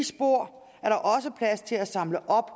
spor er der også plads til at samle op